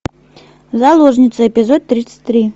заложница эпизод тридцать три